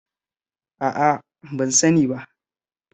A'a, ban sani ba.